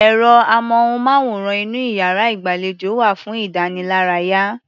Ẹ̀rọ-amóhùnmáwòrán inú iyàrá-ìgbàlejò wà fún ìdánilárayá.